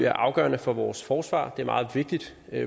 afgørende for vores forsvar det meget vigtigt